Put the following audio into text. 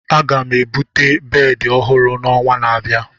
Aga m ebute bedị ọhụrụ n'ọnwa na-abịa.